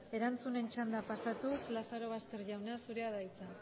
erantzunen txandara pasatuz lazarobaster jauna zurea da hitza